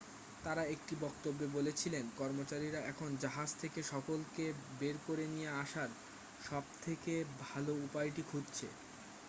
তারা একটি বক্তব্যে বলেছিলেন কর্মচারীরা এখন জাহাজ থেকে সকলকে বের করে নিয়ে আসার সবথেকে ভালো উপায়টি খুঁজছে